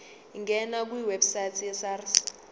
ngena kwiwebsite yesars